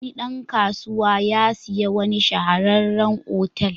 Wani dan kasuwa ya sayi wani shahararren otal.